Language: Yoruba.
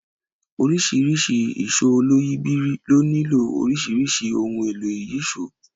Oríṣiríṣi ìṣó oloyìibírí ló nílò oríṣiríṣi ohun èlò ìyíṣòó